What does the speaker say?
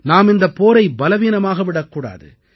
நாம் இந்தப் போரை பலவீனமாக விடக்கூடாது